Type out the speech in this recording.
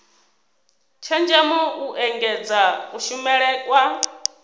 tshenzhemo u engedza kushumele kwa